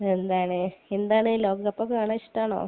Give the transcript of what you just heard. പിന്നെ എന്താണ്? എന്താണ്, ലോകകപ്പൊക്കെ കാണാൻ ഇഷ്ടാണോ?